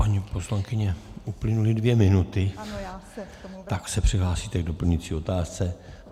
Paní poslankyně, uplynuly dvě minuty, tak se přihlásíte k doplňující otázce.